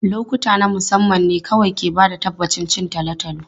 Lokuta na musamman ne kawai ke ba da tabbacin cin tolotolo.